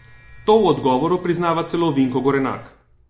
To v odgovoru priznava celo Vinko Gorenak.